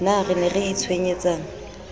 na re ne re itshwenyetsang